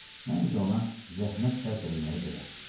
Məncə ona zəhmət sərf eləməyə dəyər.